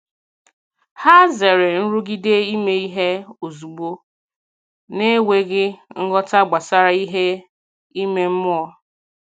Hà zèrè nrụgide ime ihe ozugbo n’enweghị nghọta gbasàra ihe ime mmụọ.